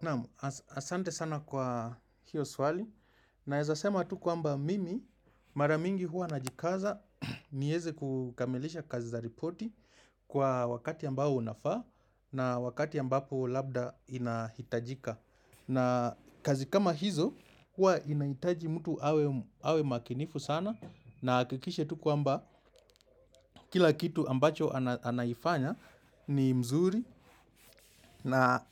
Naam, asante sana kwa hiyo swali Naezasema tu kwamba mimi maramingi huwa najikaza nieze kukamilisha kazi za ripoti kwa wakati ambao unafaa na wakati ambapo labda inahitajika na kazi kama hizo hua inahitaji mtu awe makinifu sana na ahakikishe tu kwa mba kila kitu ambacho anaifanya ni mzuri na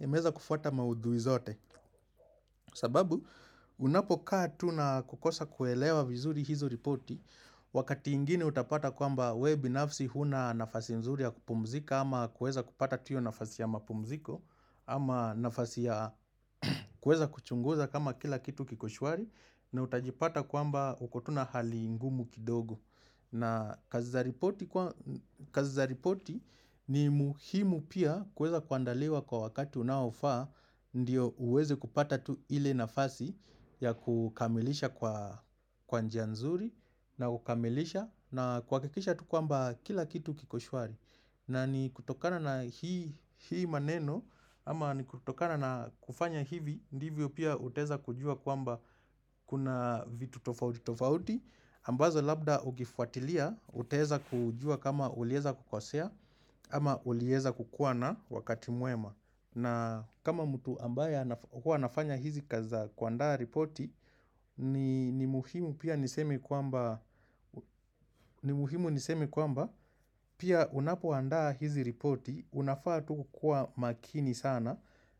imeweza kufuata maudhui zote sababu unapokaa tuna kukosa kuelewa vizuri hizo ripoti Wakati ingine utapata kwamba wewe binafsi huna nafasi mzuri ya kupumzika Ama kuweza kupata tu hiyo nafasi ya mapumziko Ama nafasi ya kuweza kuchunguza kama kila kitu kikoshwari na utajipata kwamba ukotuna hali ngumu kidogo na kazi za ripoti ni muhimu pia kuweza kuandaliwa kwa wakati unaofaa, ndio uweze kupata tu ile nafasi ya kukamilisha kwa njia nzuri na kukamilisha na kuhakikisha tu kwamba kila kitu kiko shwari. Na ni kutokana na hii maneno ama ni kutokana na kufanya hivi ndivyo pia utaweza kujua kwamba kuna vitu tofauti tofauti ambazo labda ukifuatilia utaweza kujua kama uliweza kukosea ama uliweza kukuwa na wakati mwema na kama mtu ambaye hua anafanya hizi kazi za kuandaa ripoti ni muhimu pia niseme kwamba ni muhimu niseme kwamba Pia unapoandaa hizi repoti Unafaa tuku kuwa makini sana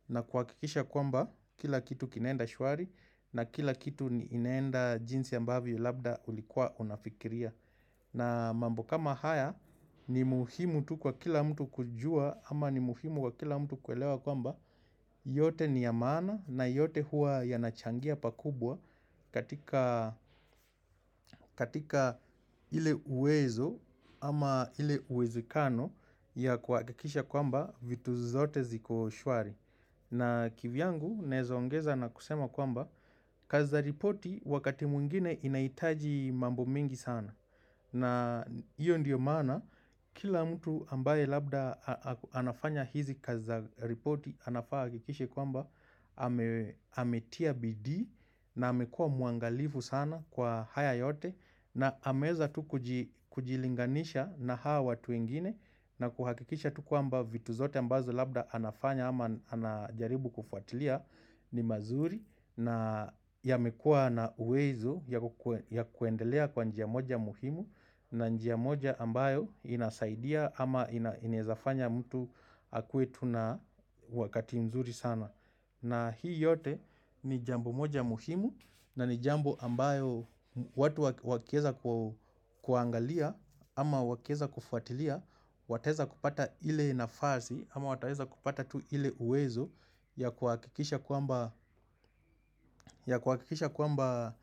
na kuhakikisha kwamba Kila kitu kinaenda shwari na kila kitu inaenda jinsi ambavYo labda ulikuwa unafikiria na mambo kama haya ni muhimu tu kwa kila mtu kujua Ama ni muhimu wa kila mtu kuelewa kwamba yote niyamaana na yote hua yanachangia pakubwa katika ile uwezo ama ile uwezekano ya kuhakikisha kwamba vitu zote zikoshwari. Na kivyangu naweza ongeza na kusema kwamba kazi za ripoti wakati mwingine inahitaji mambo mingi sana. Na hiyo ndiyo maana kila mtu ambaye labda anafanya hizi kazi za reporti anafaa ahakikishe kwamba ametia bidii na amekua mwangalifu sana kwa haya yote na ameweza tu kujilinganisha na hao watu wengine na kuhakikisha tu kwamba vitu zote ambazo labda anafanya ama anajaribu kufuatilia ni mazuri na yamekua na uwezo ya kuendelea kwa njia moja muhimu na njia moja ambayo inasaidia ama inawezafanya mtu akue tu na wakati mzuri sana. Na hii yote ni jambo moja muhimu na ni jambo ambayo watu wakiweza kuangalia ama wakiweza kufuatilia, wataweza kupata ile nafasi ama wataweza kupata tu ile uwezo ya kuhakikisha kwamba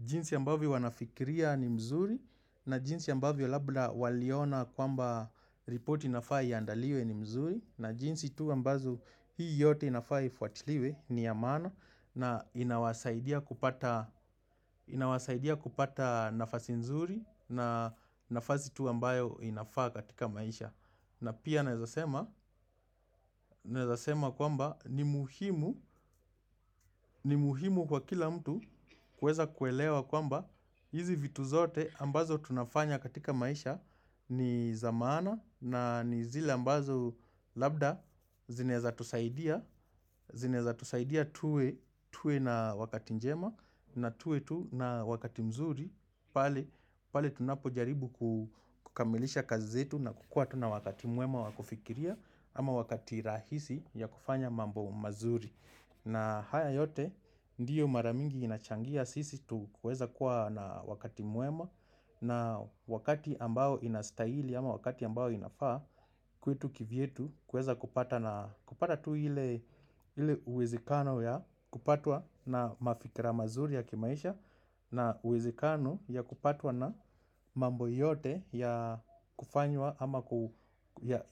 jinsi ambavyo wanafikiria ni mzuri na jinsi ambavyo labda waliona kwamba repoti inafaa iaandaliwe ni mzuri na jinsi tu ambazo hii yote inafaa ifuatiliwe ni ya maana na inawasaidia kupata nafasi mzuri na nafasi tu ambayo inafaa katika maisha na pia naezasema kwamba ni muhimu ni muhimu kwa kila mtu kuweza kuelewa kwamba hizi vitu zote ambazo tunafanya katika maisha ni zamaana na ni zile ambazo labda zinaweza tusaidia tuwe na wakati njema na tuwe tu na wakati mzuri pale tunapo jaribu kukamilisha kazi zetu na kukua tu na wakati mwema wakufikiria ama wakati rahisi ya kufanya mambo mazuri na haya yote ndiyo maramingi inachangia sisi tu kuweza kuwa na wakati mwema na wakati ambao inastahili ama wakati ambao inafaa kwetu kivyetu kuweza kupata na kupata tu ile uwezekano ya kupatwa na mafikira mazuri ya kimaisha na uwezekano ya kupatwa na mambo yote ya kufanywa ama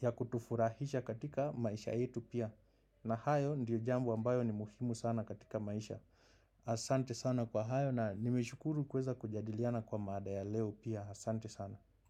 ya kutufurahisha katika maisha yetu pia. Na hayo ndiyo jambo ambayo ni muhimu sana katika maisha asante sana kwa hayo na nimeshukuru kuweza kujadiliana kwa mada ya leo pia asante sana.